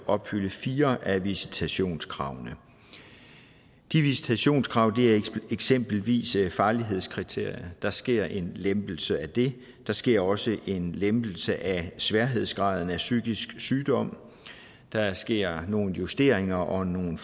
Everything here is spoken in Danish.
opfylde fire af visitationskravene de visitationskrav er eksempelvis farlighedskriterie der sker en lempelse af det der sker også en lempelse af sværhedsgraden af psykisk sygdom der sker nogle justeringer og nogle